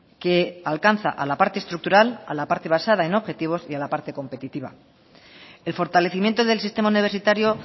que alcanza a la parte estructural a la parte basada en objetivos y a la parte competitiva el fortalecimiento del sistema universitario